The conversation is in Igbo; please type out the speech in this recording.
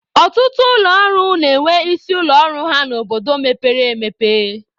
Ọtụtụ ụlọ ọrụ na-enwe isi ụlọ ọrụ ha n'obodo mepere emepe.